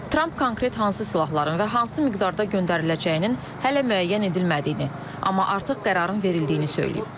Tramp konkret hansı silahların və hansı miqdarda göndəriləcəyinin hələ müəyyən edilmədiyini, amma artıq qərarın verildiyini söyləyib.